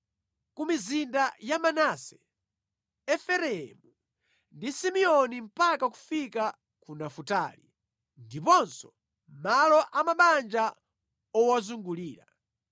Ku mizinda ya Manase, Efereimu ndi Simeoni mpaka kufika ku Nafutali, ndiponso malo a mabanja owazungulira,